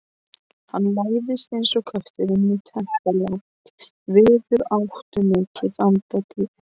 Hann læðist eins og köttur inn í teppalagt, víðáttumikið anddyri.